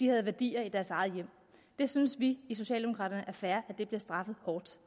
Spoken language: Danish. havde værdier i deres eget hjem vi synes i socialdemokraterne er fair at det bliver straffet hårdt